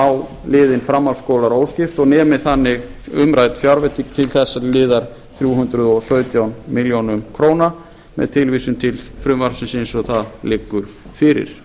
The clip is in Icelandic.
á liðinn framhaldsskólar óskipt og nemi þannig umrædd fjárveiting til þessa liðar þrjú hundruð og sautján milljónir króna með tilvísun til frumvarpsins eins og það liggur fyrir